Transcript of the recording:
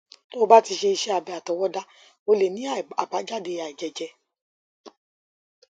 tó o bá ti ṣe iṣé abẹ àtọwọdá ó lè ní àbájáde àìjẹjẹ